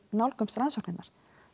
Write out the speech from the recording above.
nálgast rannsóknina